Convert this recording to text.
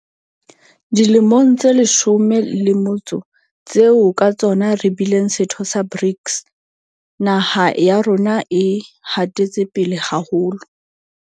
Dilemong tse leshome le motso tseo ka tsona re bileng setho sa BRICS, naha ya rona e hatetse pele haholo.